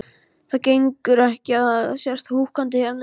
Það gengur ekki að þú sért húkandi hérna inni.